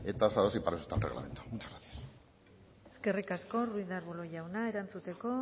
tasados y para eso está el reglamento muchas gracias eskerrik asko ruiz de arbulo jauna erantzuteko